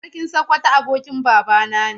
Sarkin Sokoto abokin babana ne.